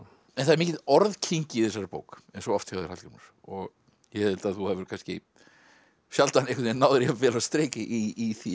en það er mikil orðkyngi í þessari bók eins og oft hjá þér Hallgrímur og ég held að þú hafir sjaldan náð þér jafn vel á strik í því